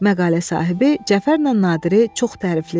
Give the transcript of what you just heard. Məqalə sahibi Cəfərlə Nadiri çox tərifləyirdi.